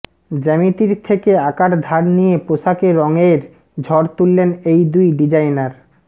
জ্যামিতির থেকে আকার ধার নিয়ে পোশাকে রঙের ঝড় তুললেন এই দুই ডিজাইনার